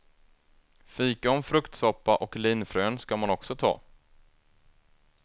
Fikon, fruktsoppa och linfrön ska man också ta.